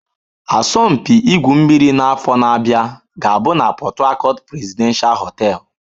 Asọmpi igwu mmiri n'afọ na-abịa ga-abụ na Port Harcourt Presidential hotel.